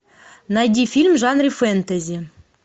найди фильм в жанре фэнтези